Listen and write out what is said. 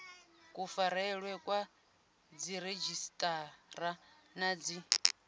kufarelwe kwa dziredzhisiṱara na dzi